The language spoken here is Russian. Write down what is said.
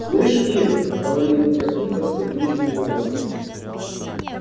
слышишь ира говорит он таким-то скрипучим голосом